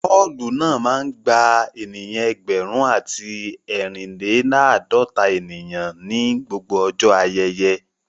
Ọ́ọ̀lù náà máa ń gba ènìyàn ẹgbẹ̀rún àti ẹrin-le-laadota ènìyàn ní gbogbo ọjọ́ ayẹyẹ